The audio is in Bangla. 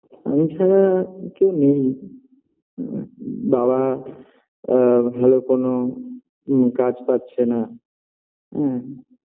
আমি ছাড়া আর কেউ নেই বাবা আ ভালো কোনো কাজ পাচ্ছে না হুম